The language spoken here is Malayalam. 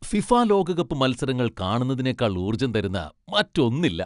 ഫിഫ ലോകകപ്പ് മത്സരങ്ങൾ കാണുന്നതിനേക്കാൾ ഊർജം തരുന്ന മറ്റൊന്നില്ല.